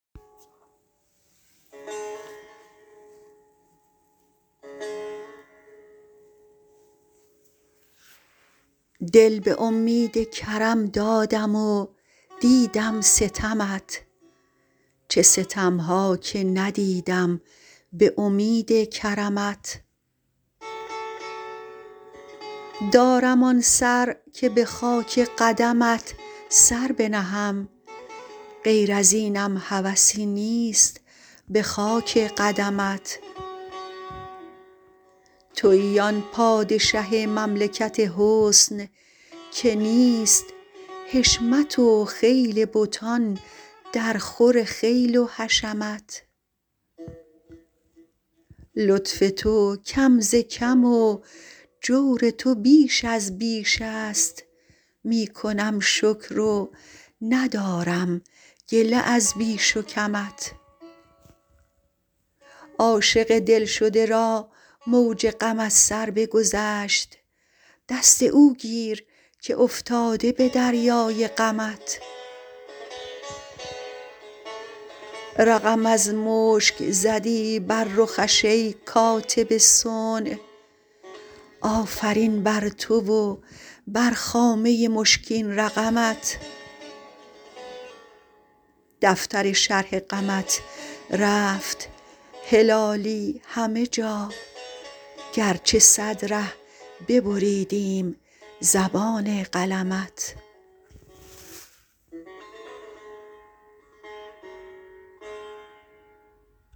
دل به امید کرم دادم و دیدم ستمت چه ستم ها که ندیدم به امید کرمت دارم آن سر که به خاک قدمت سر بنهم غیر ازینم هوسی نیست به خاک قدمت تویی آن پادشه مملکت حسن که نیست حشمت و خیل بتان درخور خیل و حشمت لطف تو کم ز کم و جور تو بیش از بیش است می کنم شکر و ندارم گله از بیش و کمت عاشق دلشده را موج غم از سر بگذشت دست او گیر که افتاده به دریای غمت رقم از مشک زدی بر رخش ای کاتب صنع آفرین بر تو و بر خامه مشکین رقمت دفتر شرح غمت رفت هلالی همه جا گرچه صد ره ببریدیم زبان قلمت